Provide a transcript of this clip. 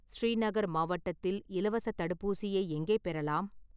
ஸ்ரீநகர் மாவட்டத்தில் இலவசத் தடுப்பூசியை எங்கே பெறலாம்?